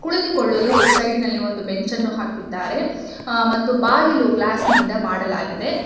ಕುಳಿತುಕೊಳ್ಳಲು ಸೈಡಿ ನಲ್ಲಿ ಒಂದು ಬೆಂಚ್ ಅನ್ನು ಹಾಕಿದ್ದಾರೆ ಮತ್ತು ಬಾಗಿಲು ಗ್ಲಾಸ್ ನಿಂದ ಮಾಡಲಾಗಿದೆ.